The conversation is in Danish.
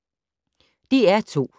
DR2